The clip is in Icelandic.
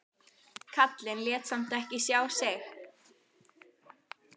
Karlinn lét samt ekki sjá sig.